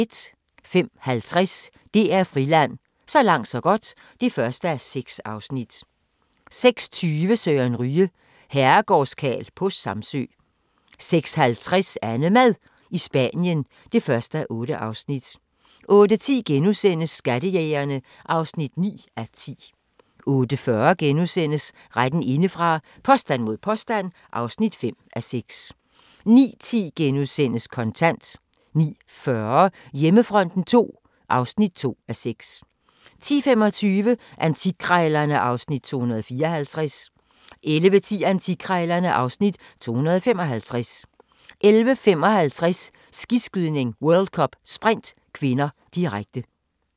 05:50: DR Friland: Så langt så godt (1:6) 06:20: Søren Ryge – Herregårdskarl på Samsø 06:50: AnneMad i Spanien (1:8) 08:10: Skattejægerne (9:10)* 08:40: Retten indefra – påstand mod påstand (5:6)* 09:10: Kontant * 09:40: Hjemmefronten II (2:6) 10:25: Antikkrejlerne (Afs. 254) 11:10: Antikkrejlerne (Afs. 255) 11:55: Skiskydning: World Cup - Sprint (k), direkte